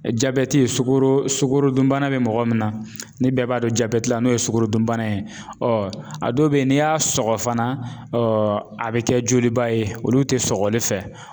Jabɛti ye sukoro sukorodun bana bɛ mɔgɔ min na ni bɛɛ b'a dɔn jabɛti la n'o ye sukorodun bana ye a dɔw bɛ ye n'i y'a sɔgɔ fana a bɛ kɛ joliba ye olu tɛ sɔgɔli fɛ.